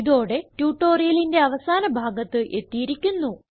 ഇതോടെ ട്യൂട്ടോറിയലിന്റെ അവസാന ഭാഗത്ത് എത്തിയിരിക്കുന്നു